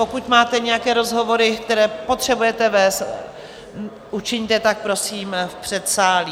Pokud máte nějaké rozhovory, které potřebujete vést, učiňte tak prosím v předsálí.